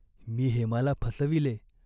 मी हेमाला फसविले.